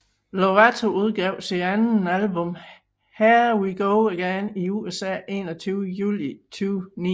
Lovato udgav sit andet album Here We Go Again i USA 21 Juli 2009